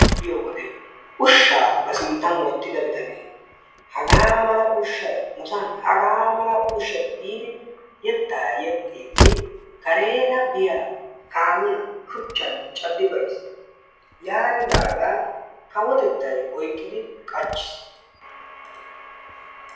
Ushshaa ba sinttan wottida bitane hagaa mala ushshay nusan hagaa mala ushshay giidi yettaa yexxiidi kareera biya kaamiya shuchchan caddi beyiis. Yaanidaagaa kawotettaay oyqqidi qachchiis.